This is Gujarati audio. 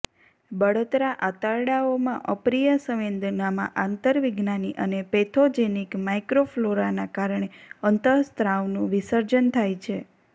બળતરા આંતરડાઓમાં અપ્રિય સંવેદનામાં આંતરવિજ્ઞાની અને પેથોજેનિક માઇક્રોફ્લોરાના કારણે અંતઃસ્ત્રાવનું વિસર્જન થાય છે